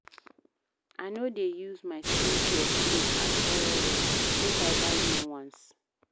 I no dey use my skincare play at all, make I buy new ones.